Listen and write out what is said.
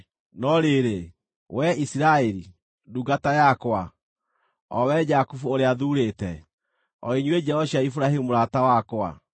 “No rĩrĩ, wee Isiraeli, ndungata yakwa, o wee Jakubu ũrĩa thuurĩte, o inyuĩ njiaro cia Iburahĩmu mũrata wakwa,